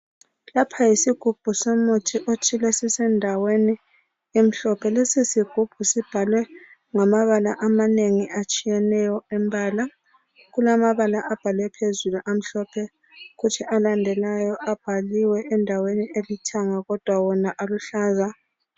Lapha yisigubhu somuthi othile esisendaweni emhlophe. Lesisigubhu sibhalwe ngamabala amanengi atshiyeneyo, lamabala abhalwe phezulu amhlophe, kuthi alendalayo abhalwe endaweni elithanga aluhlaza.